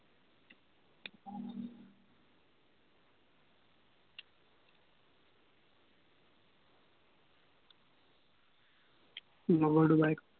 লগৰটোৰ bike to